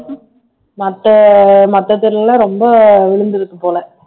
மத்த மத்த தெருல எல்லாம் ரொம்ப விழுந்திருக்கு போல